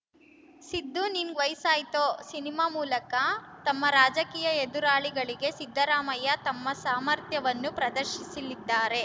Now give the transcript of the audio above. ಸಿದ್ದು ನಿಂಗ್‌ ವಯಸ್ಸಾಯ್ತೋ ಸಿನಿಮಾ ಮೂಲಕ ತಮ್ಮ ರಾಜಕೀಯ ಎದುರಾಳಿಗಳಿಗೆ ಸಿದ್ದರಾಮಯ್ಯ ತಮ್ಮ ಸಾಮರ್ಥ್ಯವನ್ನು ಪ್ರದರ್ಶಿಸಲಿದ್ದಾರೆ